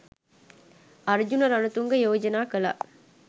අර්ජුන රණතුංග යෝජනා කළා